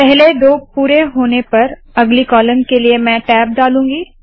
पहले दो पुरे होने पर अगली कॉलम के लिए मैं टैब डालूंगी